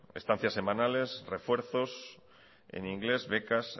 estancias semanales refuerzos en inglés becas